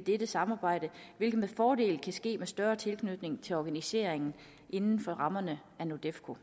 dette samarbejde hvilket med fordel kan ske med større tilknytning til organiseringen inden for rammerne af nordefco